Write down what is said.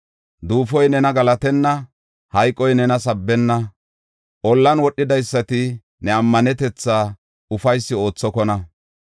Duufoy nena galatenna; hayqoy nena sabbenna. Ollan wodhidaysati, ne ammanetetha ufaysi oothokona.